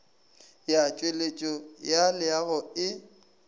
ya tšweletšo ya leago e